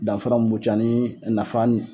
Danfa mun b'u cɛ ani nafa ni